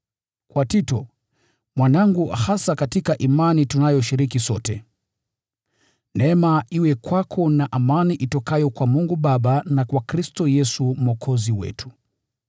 Kwa Tito, mwanangu hasa katika imani tunayoshiriki sote: Neema iwe kwako na amani itokayo kwa Mungu Baba na kwa Kristo Yesu Mwokozi wetu.